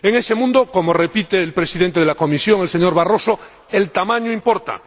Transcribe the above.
En ese mundo, como repite el Presidente de la Comisión, el señor Barroso, el tamaño importa.